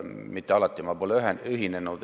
Mitte alati pole ma sellega ühinenud.